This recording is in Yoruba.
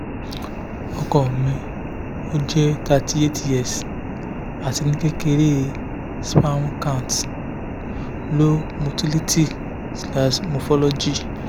ọkọ mi o jẹ thirty eight years ati ni kekere sperm count low motility / morphology